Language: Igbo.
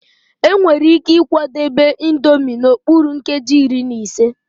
Enwere ike ịkwadebe Indomie n'okpuru nkeji iri na ise.